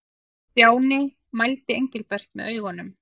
Stjáni mældi Engilbert með augunum.